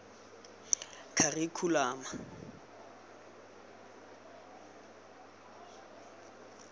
kharikhulamo